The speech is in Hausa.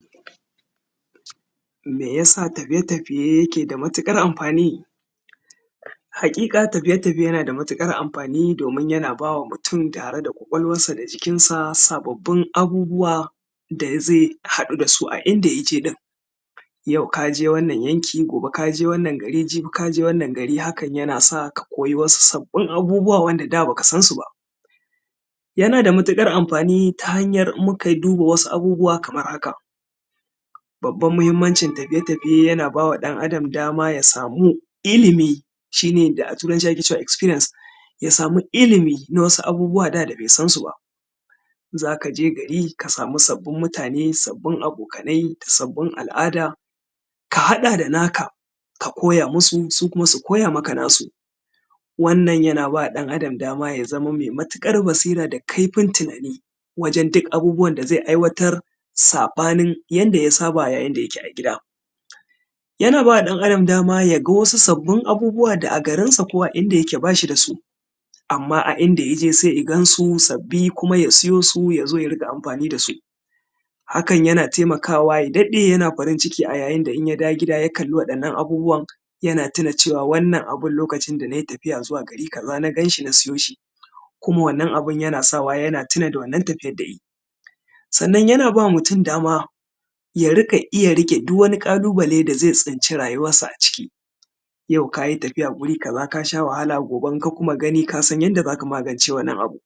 Meyasa tafiye-tafiye yake da matuƙar amfani? Haƙiƙa tafiye-tafiye yana da matuƙar amfani domin yana ba wa mutum tare da ƙwaƙwalwarsa da jikinsa sababbin abubuwa da zai haɗu da su a inda ya je ɗin. Yau ka je wannan yanki, gobe ka je wannan gari, jibi ka je gari, hakan yana sa ka koyi wasu sabbin abubuwa wanda da baka san su ba. Yana da matuƙar amfani ta hanyar, in muka duba wasu abubuwa kamar haka; babban muhammancin tafiye-tafiye yana ba wa ɗan-adam dama ya samu ilimi, shi ne da a turanci ake cewa ‘experience’, ya samu ilimi na wasu abubuwa wanda da bai san su ba, za ka je gari ka samu sabbin mutane, sabbin abokanai, sabbin al’ada, ka haɗa da naka ka koya masu su kuma su koya maka nasu. Wannan yana ba ɗan-adam dama ya zama mai matuƙar basira da kaifin tunani wajen duk abubuwan da zai aiwatar, saɓanin yanda ya saba da yayin da yake a gida. Yana ba wa ɗan-adam dama ya ga wasu sabbin abubuwa da a garinsa ko a inda yake ba shi da su, amma a inda ya je sai ya gan su sabbi kuma ya siyo su ya zo ya riƙa amfani da su. Hakan yana taimakawa ya daɗe yana farin-ciki a yayin da in ya dawo gida ya kalli waɗannan abubuwan yana tuna cewa wannan abun lokacin da na yi tafiya zuwa gari kaza na gan shi na siyo shi, kuma wannan abun yana sa wa yana tuna da wannan tafiyad da yayi. Sannan yana ba mutum dama ya riƙa iya riƙe duk wani ƙalubale da zai tsinci rayuwarsa aciki, yau ka yi tafiya wuri kaza ka sha wahala, gobe in ka kuma gani ka san yadda za ka magance wannan abu.